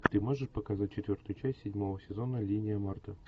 ты можешь показать четвертую часть седьмого сезона линия марты